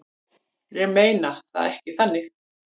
Ég meina það ekki þannig.